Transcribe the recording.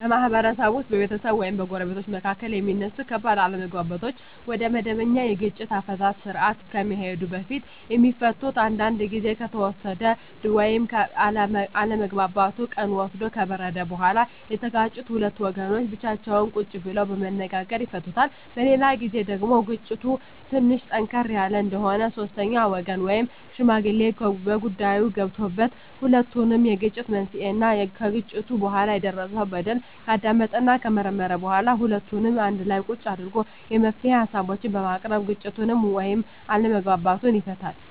በማህበረሰብ ውስጥ በቤተሰብ ወይም በጎረቤቶች መካከል የሚነሱ ከባድ አለመግባባቶች ወደመበኛ የግጭት አፈታት ስርአት ከመሄዱ በፊት የሚፈቱት አንዳንዱ ግዜ ከተወሰደ ወይም አለመግባባቱ ቀን ወስዶ ከበረደ በኋላ የተጋጩት ሁለት ወገኖች ብቻቸውን ቁጭ ብለው በመነጋገር ይፈቱታል። በሌላ ግዜ ደግሞ ግጭቱ ትንሽ ጠንከር ያለ እንደሆነ ሶስተኛ ወገን ወይም ሽማግሌ በጉዳይዮ ገብቶበት የሁለቱንም የግጭት መንሴና ከግጭቱ በኋላ የደረሰው በደል ካዳመጠና ከመረመረ በኋላ ሁለቱንም አንድላ ቁጭ አድርጎ የመፍትሄ ሀሳቦችን በማቅረብ ግጭቱን ወይም አለመግባባቱን ይፈታል።